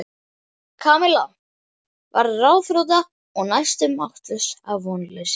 Kamilla varð ráðþrota og næstum máttlaus af vonleysi.